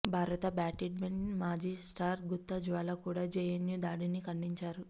భారత బ్యాడ్మింటన్ మాజీ స్టార్ గుత్తా జ్వాల కూడా జేఎన్యూ దాడిని ఖండించారు